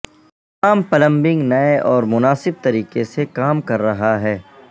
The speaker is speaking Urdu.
تمام پلمبنگ نئے اور مناسب طریقے سے کام کر رہا ہے